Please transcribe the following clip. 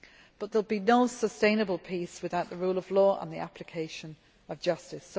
But there will be no sustainable peace without the rule of law and the application of justice.